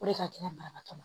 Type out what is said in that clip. O de ka gɛlɛn banabaatɔ ma